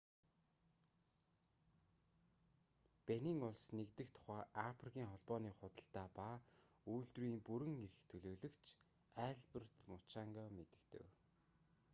бенин улс нэгдэх тухай африкийн холбооны худалдаа ба үйлдвэрийн бүрэн эрх төлөөлөгч алберт мучанга мэдэгдэв